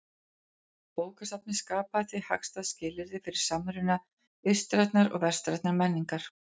Bókasafnið skapaði því hagstæð skilyrði fyrir samruna austrænnar og vestrænnar menningar.